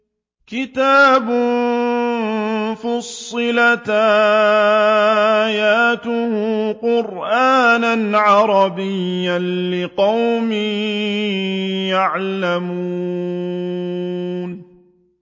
كِتَابٌ فُصِّلَتْ آيَاتُهُ قُرْآنًا عَرَبِيًّا لِّقَوْمٍ يَعْلَمُونَ